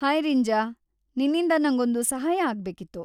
Hi Rinja, ನಿನ್ನಿಂದ ನಂಗೊಂದು ಸಹಾಯ ಆಗ್ಬೇಕಿತ್ತು.